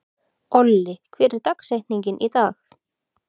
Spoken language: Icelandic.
Olli, hver er dagsetningin í dag?